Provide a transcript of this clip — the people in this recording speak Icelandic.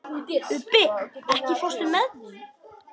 Ubbi, ekki fórstu með þeim?